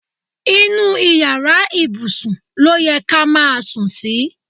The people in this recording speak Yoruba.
Inú iyàrá ibùsùn lóye ká má sùn sí.